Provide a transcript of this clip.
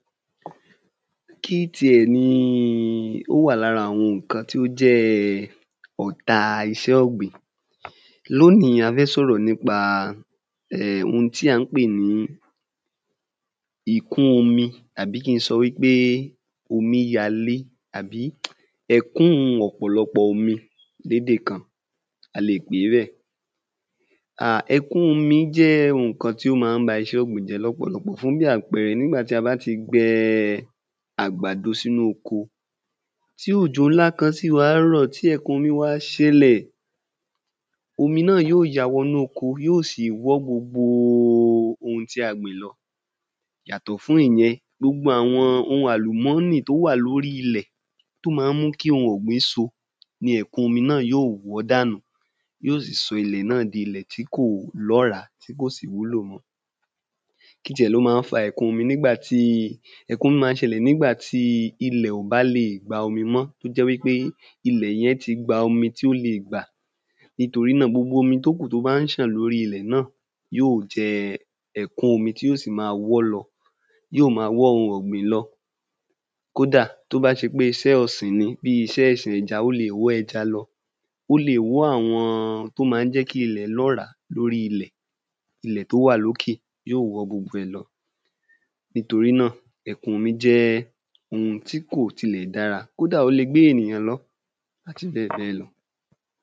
Kí ti ẹ̀ ni ó wà lára àwọn ǹkan tó jẹ́ ọ̀ta iṣẹ́ ọ̀gbìn lóní a fẹ́ sọ̀rọ̀ nípa hun tí à ń pè ní ìkún omi àbí ki ń sọ wí pé omi yalé àbí ẹ̀kún ọ̀pọ̀lọpọ̀ omi lédè kan a lè pèé bẹ́ẹ̀ ẹ̀kún omi jẹ́ ǹkan tí ó ma ń ba iṣẹ́ ọ̀gbìn jẹ́ lọ́pọ̀lọpọ̀ fún bí àpẹẹrẹ nígbà tí á bá ti gbẹn àgbàdo sínú oko tí ọ̀jọ̀ ńlá kan sì wá rọ̀ tí ẹ̀kun omi wá ṣẹlẹ̀ omi náà yí ó ya wọnú oko yóò sì wọ́ gbogbo ohun tí a gbìn lọ yàtọ̀ fún ìyẹn gbogbo àwọn ohun àlùmọ́nì tó wà lórí ilẹ̀ tó ma ń mú kí ohun ọ̀gbìn so ni ẹ̀kun omi náà yóò wọ́ dànù yí ó sì sọ ilẹ̀ náà di ilẹ̀ tí kò lọ́rá tí kò sì wúlò mọ́ kí ti ẹ̀ ló má ń fa ẹ̀kun omi ẹ̀kun omi má ń ṣẹlẹ̀ nígbà tí ilẹ̀ ò bá lè gba omi mọ́ tó jẹ́ wí pé ilẹ̀ yẹn ti gba omi tí o lè gbà nítorí náà gbogbo omi tó kù tó bá ń ṣàn lórí ilẹ̀ náà yí ò jẹ ẹ̀kun omi tí ó sì ma wọ́lọ yí ò ma wọ́ ohun ọ̀gbìn lọ kódà tó bá ṣe pé iṣẹ́ ọ̀sìn ni bí iṣẹ́ ọ̀sìn ẹja o lè wọ́ ẹja lọ o lè wọ́ àwọn tó má ń jẹ́ kí ilẹ̀ lọ́rá lórí ilẹ̀ ilẹ̀ tó wà lókè yí ò wọ́ gbogbo ẹ̀ lọ nítorí náà ẹ̀kun omi jẹ́ ohun tí kò tilẹ̀ dára kódà ó le gbé ènìyàn lọ àti bẹ́ẹ̀ bẹ́ẹ̀ lọ